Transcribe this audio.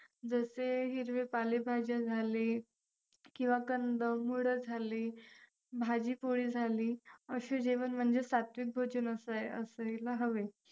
जसे हिरवे पालेभाज्या झाले, किंवा कंदमुळं झाली, भाजी-पोळी झाली असे जेवण म्हणजे सात्विक भोजन असायला हवे.